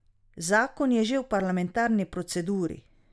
Zakon je že v parlamentarni proceduri.